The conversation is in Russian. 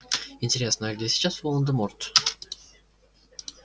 интересно а где сейчас волан-де-морт